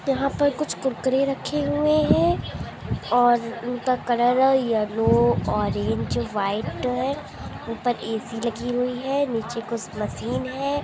यहाँ पर कुछ कुरकुरे रखे हुए है और उनका कलर येलो ऑरेंज वाइट है ऊपर ए_सी लगी हुई है नीचे कुछ मशीन है|